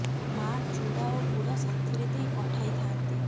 ମା ଚୁଡ଼ା ଓ ଗୁଡ଼ ସାଥିରେ ଦେଇ ପଠାଇ ଥାଆନ୍ତି